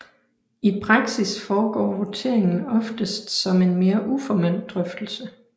I praksis foregår voteringen oftest som en mere uformel drøftelse